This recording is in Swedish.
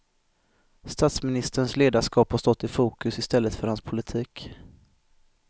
Statsministerns ledarskap har stått i fokus i stället för hans politik.